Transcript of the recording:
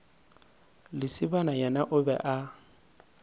lesibana yena o be a